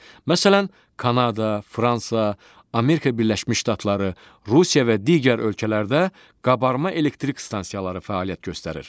Məsələn, Kanada, Fransa, Amerika Birləşmiş Ştatları, Rusiya və digər ölkələrdə qabarma elektrik stansiyaları fəaliyyət göstərir.